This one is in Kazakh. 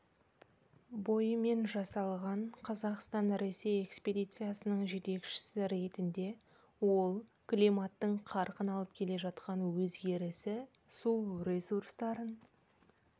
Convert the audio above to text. бойымен жасалған қазақстан-ресей экспедициясының жетекшісі ретінде ол климаттың қарқын алып келе жатқан өзгерісі су ресурстарын